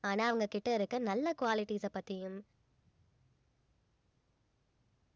ஆனா அவங்க கிட்ட இருக்க நல்ல qualities அ பத்தியும்